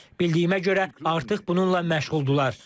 Bildiyimə görə, artıq bununla məşğuldurlar.